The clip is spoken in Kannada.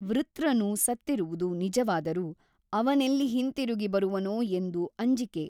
ವೃತ್ರನು ಸತ್ತಿರುವುದು ನಿಜವಾದರೂ ಅವನೆಲ್ಲಿ ಹಿಂತಿರುಗಿ ಬರುವನೋ ಎಂದು ಅಂಜಿಕೆ.